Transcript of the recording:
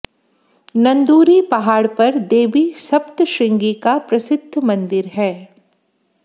नंदूरी पहाड़ पर देवी सप्तश्रृंगी का प्रसिद्ध मंदिर है